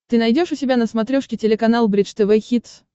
ты найдешь у себя на смотрешке телеканал бридж тв хитс